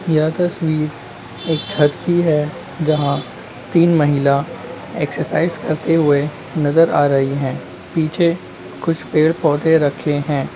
यह तस्वीर एक छत की है जहाँ तीन महिला एक्सेरसाईज करते हुए नज़र आ रही हैं पीछे कुछ पेड़ पौधे रखें हैं।